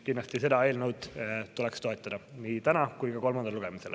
Kindlasti tuleks seda eelnõu toetada nii täna kui ka kolmandal lugemisel.